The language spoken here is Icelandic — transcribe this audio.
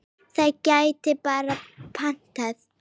Það gæti bara batnað!